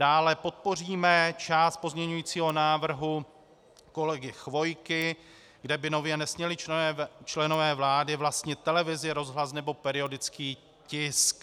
Dále podpoříme část pozměňovacího návrhu kolegy Chvojky, kde by nově nesměli členové vlády vlastnit televizi, rozhlas nebo periodický tisk.